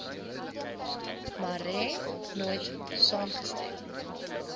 marais nooit saamgestem